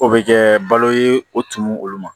O bɛ kɛ balo ye o tumu olu ma